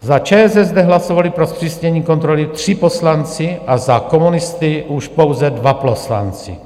Za ČSSD hlasovali pro zpřísnění kontroly tři poslanci a za komunisty už pouze dva poslanci.